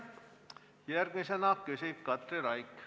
Järgmisena küsib Katri Raik.